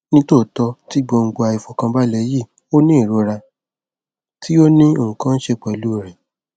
nitootọ ti gbongbo aifọkanbalẹ yii o ni irora ti o ni nkan ṣe pẹlu rẹ